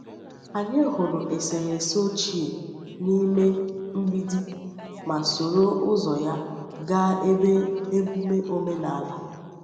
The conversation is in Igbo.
Anyị hụrụ eserese ochie n’ime mgbidi ma soro ụzọ ya gaa ebe emume omenala.